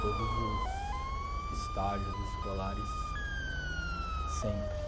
Todos os estágios escolares, sempre.